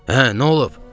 Hə, nə olub?